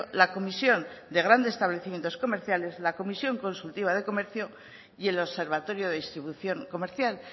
la comisión de grandes establecimientos comerciales la comisión consultiva de comercio y el observatorio de distribución comercial